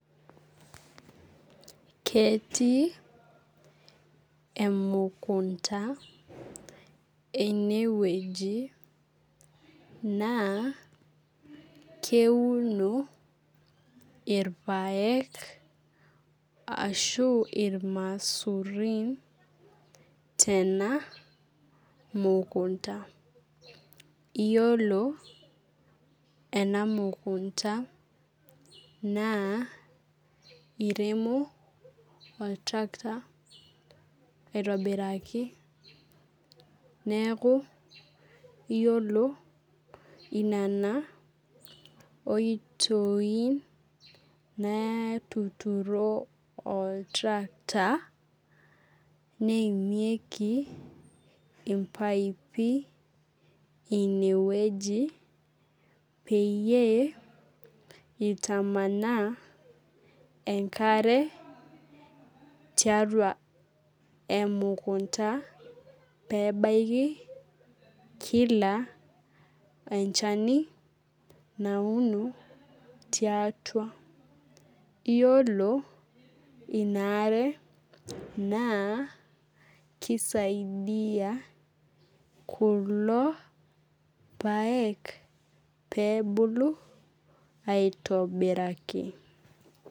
Ketii emukunda enewueji, naa keuno irpaek ashu irmaisurin tena mukunda. Yiolo ena mukunda, naa iremo oltrakta aitobiraki, neeku yiolo inena oitoi naatuturo oltrakta, neimieki impaipi inewueji, peyie itamanaa enkare tiatua emukunda, pebaiki kila enchani nauno tiatua. Yiolo inaare, naa kisaidia kulo paek pebulu, aitobiraki.